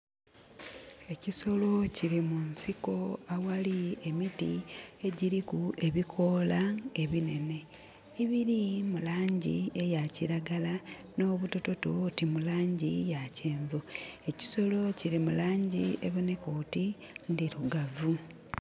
Ekisolo kili munsiko aghali emiti, egyiriku ebikoola ebinhenhe, ebili mu langi eya kiragala, nh'obutototo oti mu langi ya kyenvu. Ekisolo kili mu langi ebonheka oti ndhirugavu.